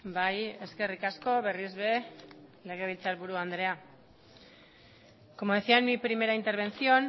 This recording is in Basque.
bai eskerrik asko berriz ere legebiltzar buru andrea como decía en mi primera intervención